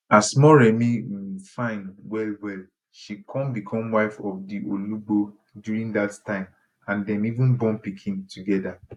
as moremi um fine wellwell she kon become wife of di olugbo during dat time and dem even born pikin togeda